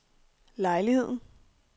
lejligheden